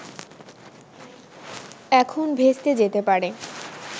এখন ভেস্তে যেতে পারে